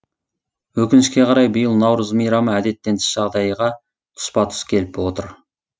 өкінішке қарай биыл наурыз мейрамы әдеттен тыс жағдайға тұспа тұс келіп отыр